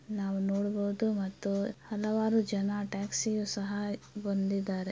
ನಾನು ನೋಡ್ಬವುದು ಮತ್ತು ಹಲವಾರು ಜನ ಟ್ಯಾಕ್ಸಿ ಯು ಸಹಯ ಬಂದಿದಾರೆ.